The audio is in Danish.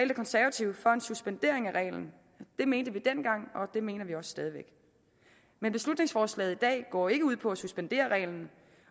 de konservative for en suspendering af reglen det mente vi dengang og det mener vi også stadig væk men beslutningsforslaget i dag går ikke ud på suspendere reglen